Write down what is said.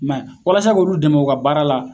I m'a ye walasa k'olu dɛmɛ u ka baara la